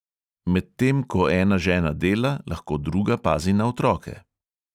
Med tem ko ena žena dela, lahko druga pazi na otroke.